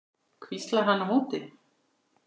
hvíslar hann á móti.